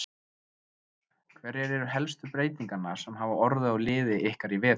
Hverjar eru helstu breytingarnar sem hafa orðið á liði ykkar í vetur?